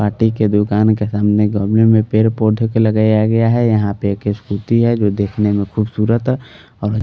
माटी के दुकान के सामने गमले में पेड़ पौधे के लगाया गया है यहां पे एक स्कूटी है जो देखने में खूबसूरत और--